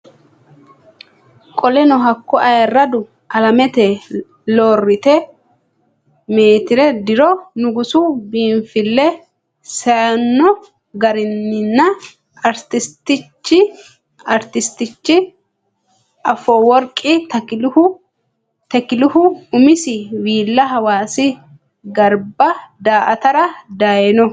Qoleno hakko Ayirradu Alamete Looreete Meetire diro Nugusu biinfille seyno qarqaranna Artistichi Afoworqi Tekilehu umisi viilla Hawaasi garba daa atara dayno.